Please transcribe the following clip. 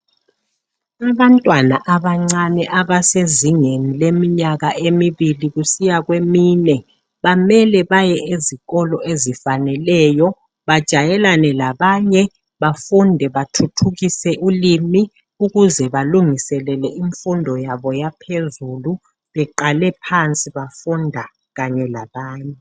Abantwana abancane abasezingeni leminyaka emibili kusiya kwemine Bamele baye ezikolo ezifaneleyo bajayelane labanye ,bafunde bathuthukise ulimi ukuze balungiselele imfundo yabo yaphezulu .Beqale phansi bafunda kanye labanye.